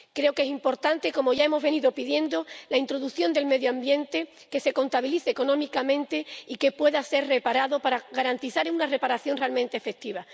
Creo que es importante —como ya hemos venido pidiendo— la introducción del medio ambiente que se contabilice económicamente y que se pueda garantizar una reparación realmente efectiva.